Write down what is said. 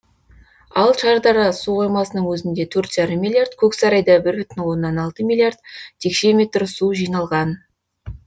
ал шардара су қоймасының өзінде төрт жарым миллиард көксарайда бір бүтін оннан алты миллиард текше метр су жиналған